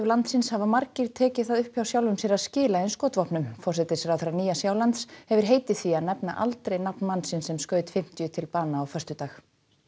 landsins hafa margir tekið það upp hjá sjálfum sér að skila skotvopnum forsætisráðherra Nýja Sjálands hefur heitið því að nefna aldrei nafn mannsins sem skaut fimmtíu til bana á föstudag